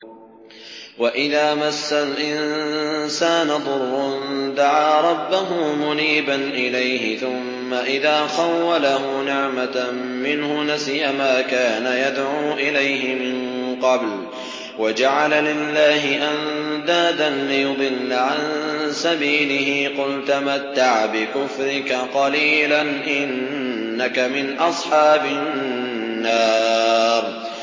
۞ وَإِذَا مَسَّ الْإِنسَانَ ضُرٌّ دَعَا رَبَّهُ مُنِيبًا إِلَيْهِ ثُمَّ إِذَا خَوَّلَهُ نِعْمَةً مِّنْهُ نَسِيَ مَا كَانَ يَدْعُو إِلَيْهِ مِن قَبْلُ وَجَعَلَ لِلَّهِ أَندَادًا لِّيُضِلَّ عَن سَبِيلِهِ ۚ قُلْ تَمَتَّعْ بِكُفْرِكَ قَلِيلًا ۖ إِنَّكَ مِنْ أَصْحَابِ النَّارِ